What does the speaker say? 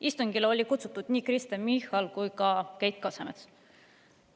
Istungile oli kutsutud nii Kristen Michal kui ka Keit Kasemets.